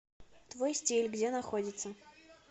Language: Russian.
твой стиль где находится